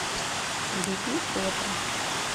биби фото